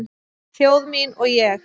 Þjóð mín og ég